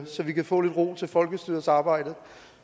så vi kan få lidt ro til folkestyrets arbejde